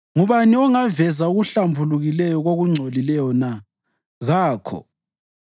Ngubani ongaveza okuhlambulukileyo kokungcolileyo na? Kakho!